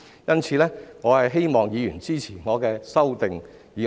因此，我希望議員支持我的修正案。